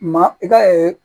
Ma i ka